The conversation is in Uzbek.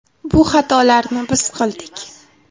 Bu xatolarni biz qildik.